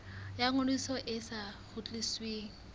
ya ngodiso e sa kgutlisweng